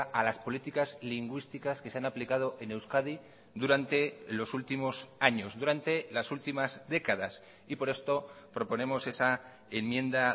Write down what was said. a las políticas lingüísticas que se han aplicado en euskadi durante los últimos años durante las últimas décadas y por esto proponemos esa enmienda